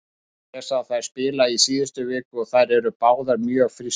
Ég sá þær spila í síðustu viku og þær voru báðar mjög frískar.